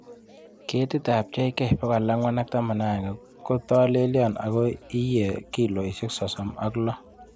Ketitab JK411 kotolelion ago iye kilosiek sosom ok loo